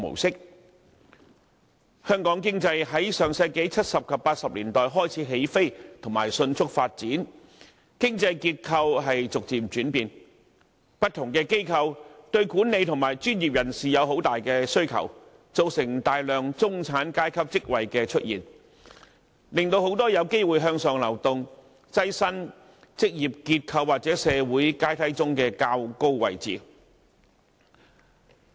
香港經濟自上世紀70及80年代開始起飛、迅速發展，經濟結構逐漸轉變，不同機構對管理和專業人士的需求很大，造成大量中產階級職位出現，令很多人有機會向上流動，躋身職業結構或社會階梯上的較高位置。